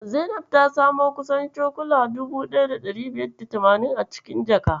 Zainab ta samo kusan cokula 1580 a cikin jaka.